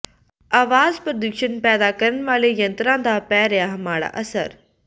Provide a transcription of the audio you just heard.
ਆਵਾਜ਼ ਪ੍ਰਦੂਸ਼ਣ ਪੈਦਾ ਕਰਨ ਵਾਲੇ ਯੰਤਰਾਂ ਦਾ ਪੈ ਰਿਹਾ ਮਾੜਾ ਅਸਰ